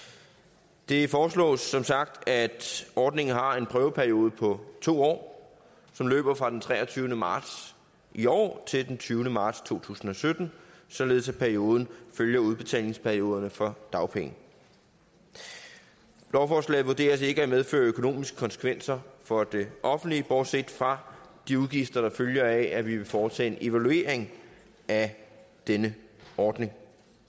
det foreslås som sagt at ordningen har en prøveperiode på to år som løber fra den treogtyvende marts i år til den tyvende marts to tusind og sytten således at perioden følger udbetalingsperioderne for dagpenge lovforslaget vurderes ikke at medføre økonomiske konsekvenser for det offentlige bortset fra de udgifter der følger af at vi vil foretage en evaluering af denne ordning